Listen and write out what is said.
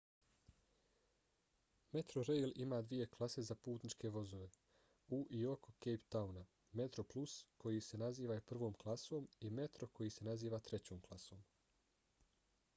metrorail ima dvije klase za putničke vozove u i oko cape towna: metroplus koji se naziva i prvom klasom i metro koji se naziva trećom klasom